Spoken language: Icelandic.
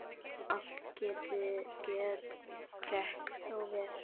Allt gekk þó vel.